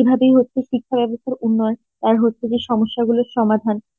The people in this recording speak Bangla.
এভাবেই হচ্ছে শিক্ষা ব্যবস্থার উন্নয়ন আর হচ্ছে যে সমস্যাগুলোর সমাধান